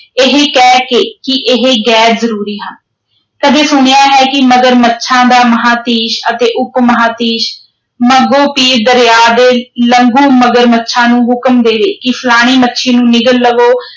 ਇਹ ਕਹਿ ਕੇ ਕਿ ਇਹ ਗ਼ੈਰ-ਜ਼ਰੂਰੀ ਹਨ, ਕਦੇ ਸੁਣਿਆ ਹੈ ਕਿ ਮਗਰਮੱਛਾਂ ਦਾ ਮਹਾਂਧੀਸ਼ ਅਤੇ ਉਪਮਹਾਂਧੀਸ਼ ਮੱਗੋ-ਪੀਰ ਦਰਿਆ ਦੇ ਲਘੂ ਮਗਰਮੱਛਾਂ ਨੂੰ ਹੁਕਮ ਦੇਵੇ ਕਿ ਫਲਾਣੀ ਮੱਛੀ ਨੂੰ ਨਿਗਲ ਲਵੋ